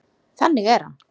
Þannig er hann.